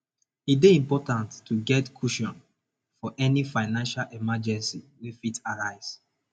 e dey important to get cushion for any financial emergency wey fit arise